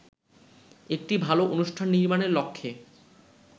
একটি ভালো অনুষ্ঠান নির্মাণের লক্ষ্যে